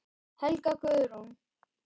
Helga Guðrún.